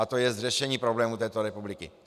A to je řešení problémů této republiky.